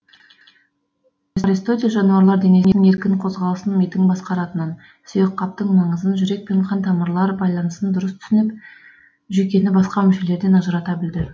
аристотель жануарлар денесінің еркін қозғалысын мидың басқаратынын сүйекқаптың маңызын жүрек пен қан тамырлар байланысын дұрыс түсініп жүйкені басқа мүшелерден ажырата білді